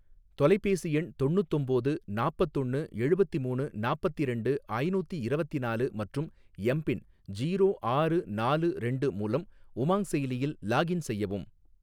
தொலைபேசி எண் தொண்ணூத்தொம்போது நாப்பத்தொன்னு எழுவத்திமூணு நாப்பத்திரெண்டு ஐநூத்தி இரவத்திநாலு மற்றும் எம் பின் ஜீரோ ஆறு நாலு ரெண்டு மூலம் உமாங் செயலியில் லாக்இன் செய்யவும்